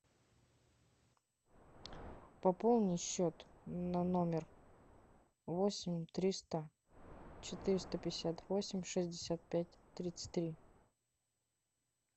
пополни счет на номер восемь триста четыреста пятьдесят восемь шестьдесят пять тридцать три